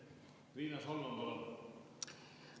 Riina Solman, palun!